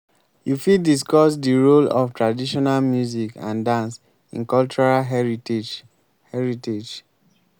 you fit discuss di role of traditional music and dance in cultural heritage. heritage.